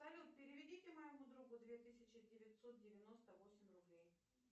салют переведите моему другу две тысячи девятьсот девяносто восемь рублей